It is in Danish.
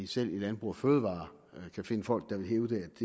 selv i landbrug fødevarer kan findes folk der vil hævde at